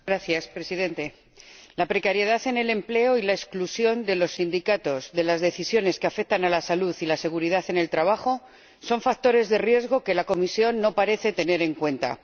Señor Presidente, la precariedad en el empleo y la exclusión de los sindicatos de las decisiones que afectan a la salud y la seguridad en el trabajo son factores de riesgo que la Comisión no parece tener en cuenta.